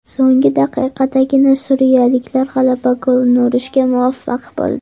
So‘nggi daqiqadagina suriyaliklar g‘alaba golini urishga muvaffaq bo‘ldi.